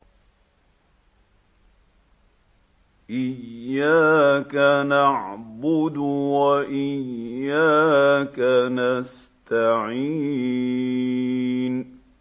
إِيَّاكَ نَعْبُدُ وَإِيَّاكَ نَسْتَعِينُ